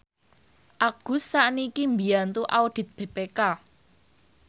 Agus sakniki mbiyantu audit BPK